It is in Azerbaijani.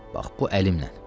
Bax bu əlimlə.